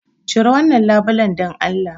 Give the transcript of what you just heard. Cire wannan labulen dan Allah!